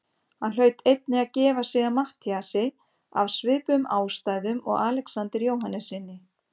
Hann hlaut einnig að gefa sig að Matthíasi af svipuðum ástæðum og Alexander Jóhannessyni.